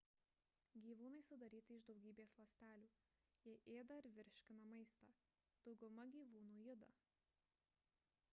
gyvūnai sudaryti iš daugybės ląstelių jie ėda ir virškina maistą dauguma gyvūnų juda